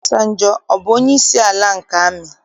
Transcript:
Ọbasanjọ, ọ bụ onyeisi ala nke amị?